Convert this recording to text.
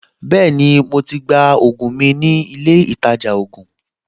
Bẹ́ẹ̀ni, mo to gba ògùn mi nílé ìtajà ògùn